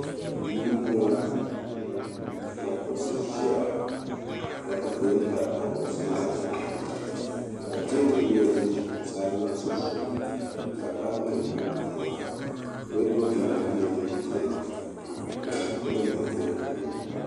Duu ni m-bɔŋɔ ka kuɣisi ʒia ka dufiɛya gabi taba kuɣisi maa zuɣu ka teebuli nyɛ din za kuɣisi ayi maa sunsuuni ka kopunima tam di zuɣu. Wɔduroopu gba nyɛla dim beni ka bukunima bembe di puuni.